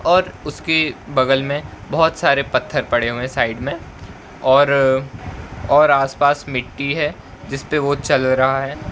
और उसके बगल मे बहोत सारे पत्थर पड़े हुए है साइड मे और और आस पास मिट्टी है जिसपे वो चला रहा है।